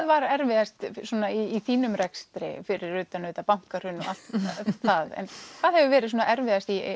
var erfiðast í þínum rekstri fyrir utan auðvitað bankahrun og það hvað hefur verið erfiðast í